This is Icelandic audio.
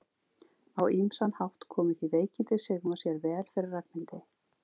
Á ýmsan hátt komu því veikindi Sigmars sér vel fyrir Ragnhildi.